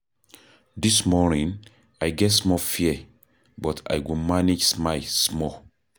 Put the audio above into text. Dis morning, I get small fear, but I go manage smile small.